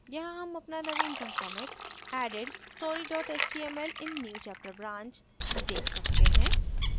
यहाँ हम अपना नवीनतम commit added story html in newchapter branch देख सकते हैं